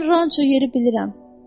Mən ranço yeri bilirəm.